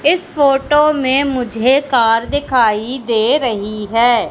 इस फोटो में मुझे कार दिखाई दे रही है।